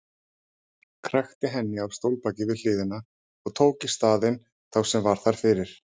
Krækti henni á stólbakið við hliðina og tók í staðinn þá sem var þar fyrir.